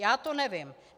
Já to nevím.